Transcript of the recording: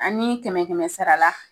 An ni kɛmɛ kɛmɛ sara la.